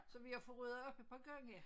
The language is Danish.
Så vi har fået ryddet op et par gange